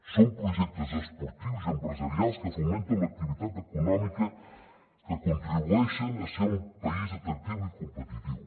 són projectes esportius i empresarials que fomenten l’activitat econòmica que contribueixen a ser un país atractiu i competitiu